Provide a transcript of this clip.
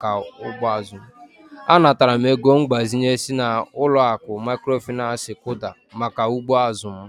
Anataram ego mgbazinye si n'aka uloaku mikrofinansi KUDA maka ugbo azụ m.